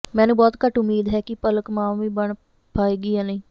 ਮੈਨੂੰ ਬਹੁਤ ਘੱਟ ਉੱਮੀਦ ਹੈ ਕਿ ਪਲਕ ਮਾਂ ਵੀ ਬਣ ਪਾਏਗੀ ਯਾ ਨਹੀਂ